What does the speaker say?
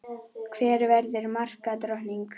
Hver verður markadrottning?